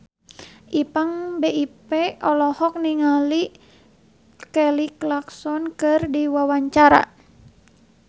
Ipank BIP olohok ningali Kelly Clarkson keur diwawancara